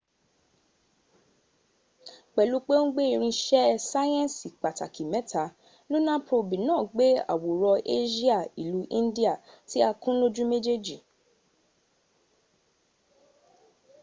pẹlu pe o n gbe irin iṣẹ sayẹnsi pataki mẹta luna probi naa gbe aworan asia ilu indiya ti a kun loju mejej